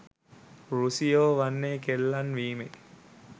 රුසියෝ වන්නේ කෙල්ලන් වීමේ